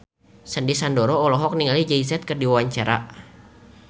Sandy Sandoro olohok ningali Jay Z keur diwawancara